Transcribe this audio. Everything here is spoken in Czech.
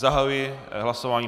Zahajuji hlasování.